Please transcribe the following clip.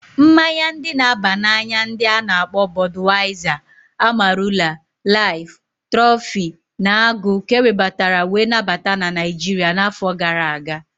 Mmaya ndi na aba na anya ndi a-na akpo Bodwaiza, Amarula, Life, Trophy, na Agụ ka ewebatara wee nabata na Naijiria na afọ gara aga.